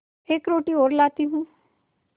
एक रोटी और लाती हूँ